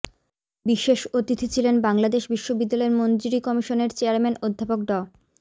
বিশেষ অতিথি ছিলেন বাংলাদেশ বিশ্ববিদ্যালয় মঞ্জুরি কমিশনের চেয়ারম্যান অধ্যাপক ড